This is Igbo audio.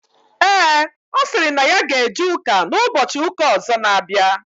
Ee, ọ sịrị na ya ga eje ụka n'ụbọchị ụka ọzọ n'abịa